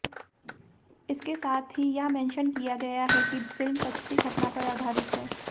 इसके साथ ही यह मेंशन किया गया है कि फिल्म सच्ची घटना पर आधारित है